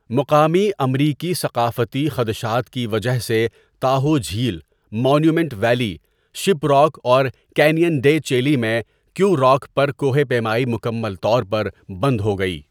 مقامی امریکی ثقافتی خدشات کی وجہ سے تاہو جھیل، مانومینٹ ویلی، شپ راک اور کینین ڈے چیلی میں کیو راک پر کوہ پیمائی مکمل طور پر بند ہو گئی۔